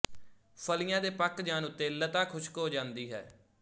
ਫਲੀਆਂ ਦੇ ਪਕ ਜਾਣ ਉੱਤੇ ਲਤਾ ਖੁਸ਼ਕ ਹੋ ਜਾਂਦੀ ਹੈ